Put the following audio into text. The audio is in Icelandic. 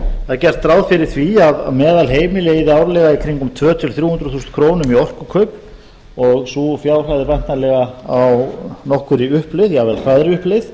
það er gert ráð fyrir því að meðalheimili eyði árlega í kringum tvær til þrjú hundruð þúsund krónur í orkukaup og sú fjárhæð er væntanlega á nokkurri uppleið jafnvel hraðri uppleið